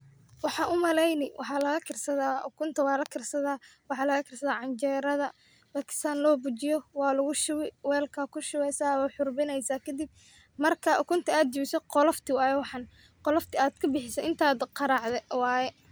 Wxan u maleyni wxalaga karsada ukunta walakarsada ,wxa lagakrsada canjereda marki san lobujiyo walagu shubi welk a kushubi, welk akushubeyasa wad xurbineysa kadip marka ukunta adjabiso qolofti waye wxan qoliftada adkabixise intad qaracde waye.